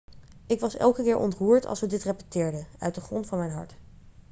ik was elke keer ontroerd als we dit repeteerden uit de grond van mijn hart